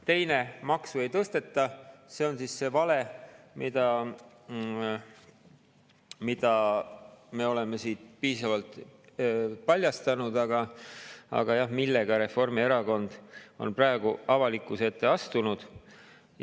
Teine – maksu ei tõsteta –, on see vale, mida me oleme siin piisavalt paljastanud ja millega Reformierakond on praegu avalikkuse ette astunud.